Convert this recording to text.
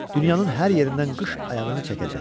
Dünyanın hər yerindən qış ayağını çəkəcək.